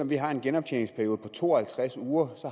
vi har en genoptjeningsperiode på to og halvtreds uger